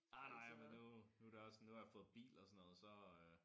Ej nej men nu nu det også nu har jeg fået bil og sådan noget så øh